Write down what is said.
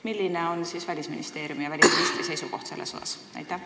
Milline on Välisministeeriumi ja välisministri seisukoht selles osas?